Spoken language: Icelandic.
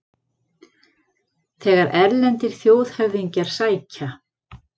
Þegar erlendir þjóðhöfðingjar sækja